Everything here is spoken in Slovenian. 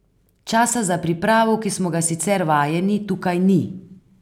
Časa za pripravo, ki smo ga sicer vajeni, tukaj ni.